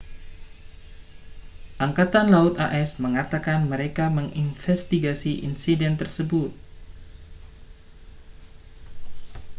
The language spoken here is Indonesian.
angkatan laut as mengatakan mereka menginvestigasi insiden tersebut